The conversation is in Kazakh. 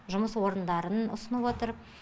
жұмыс орындарын ұсынып отыр